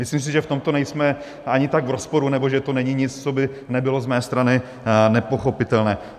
Myslím si, že v tomto nejsme ani tak v rozporu nebo že to není nic, co by nebylo z mé strany nepochopitelné.